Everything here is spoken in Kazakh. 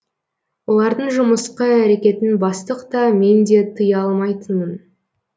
олардың жымысқы әрекетін бастық та мен де тыя алмайтынмын